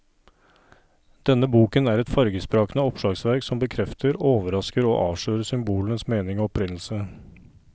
Denne boken er et fargesprakende oppslagsverk som bekrefter, overrasker og avslører symbolenes mening og opprinnelse.